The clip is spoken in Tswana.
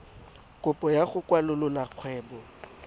kopo ya go kwalolola kgwebo